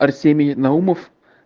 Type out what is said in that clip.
арсений наумов